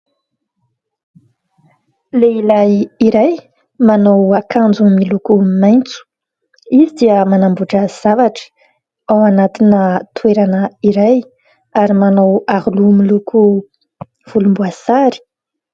Lehilahy iray manao akanjo miloko maitso; izy dia manamboatra zavatra ao anatiny toerana iray ary manao aro loha miloko volomboasary.